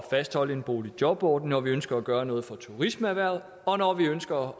fastholde boligjobordningen når vi ønsker at gøre noget for turismeerhvervet og når vi ønsker